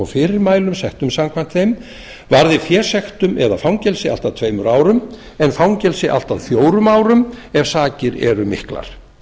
fyrirmælum settum samkvæmt þeim varði fésektum eða fangelsi allt að tveimur árum en fangelsi allt að fjórum árum ef sakir er miklar